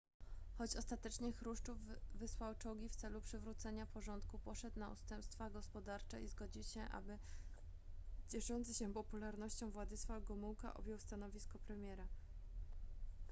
choć ostatecznie chruszczow wysłał czołgi w celu przywrócenia porządku poszedł na ustępstwa gospodarcze i zgodził się aby cieszący się popularnością władysław gomółka objął stanowisko premiera